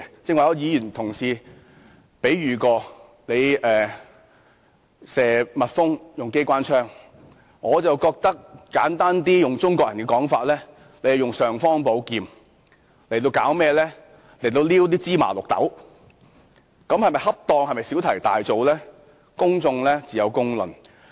剛才有同事以用機關槍射蜜蜂作比喻，我則簡單地用中國人的說法："用尚方寶劍挑芝麻綠豆"，做法是否恰當，是否小題大做，自有公論。